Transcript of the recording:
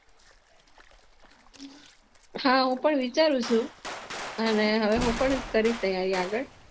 હા હું પણ વિચારું છું અને હવે હું પણ કરીશ તૈયારી આગળ